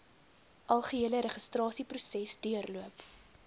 algehele registrasieproses deurloop